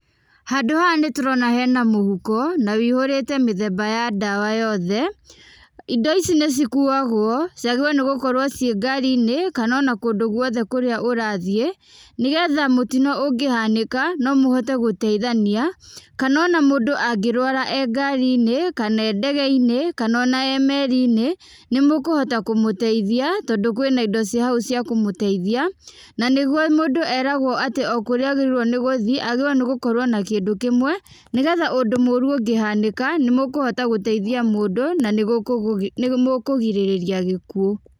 Handũ haha nĩtũrona hena mũhuko, na wihũrĩte mĩthemba ya ndawa yothe, indo ici nĩcikuagwo, ciagĩrĩirwo nĩgũkorwo ciĩ ngari-inĩ, kana ona kũndũ guothe kũrĩa guothe kũrĩa ũrathiĩ, nĩgetha mũtino ũngĩhanĩka, nomũhote gũtaithania, kana ona mũndũ angĩrwara e ngari-inĩ, kana e ndege-inĩ, kana ona e meri-inĩ, nĩmũkũhota kũmũteithia, tondũ kwĩna indo ciĩ hau ciakũmũteithia, na nĩguo mũndũ eragwo atĩ o kũrĩa agĩrĩirwo nĩgũthiĩ, agĩrĩirwo nĩgũkorwo na kĩndũ kĩmwe, nĩgetha ũndũ mũru ũngĩhanĩka, nĩmũkũhota gũteithia mũndũ, na nĩmũkũgirĩrĩria gĩkuũ.